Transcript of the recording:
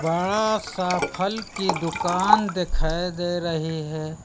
बड़ा सा फल की दुकान दिखाई दे रही है।